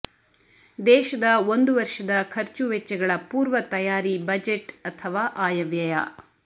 ದೇಶದ ಒಂದು ವರ್ಷದ ಖರ್ಚುವೆಚ್ಚಗಳ ಪೂರ್ವ ತಯ್ಯಾರಿ ಬಜೆಟ್ ಅಥವಾ ಆಯವ್ಯಯ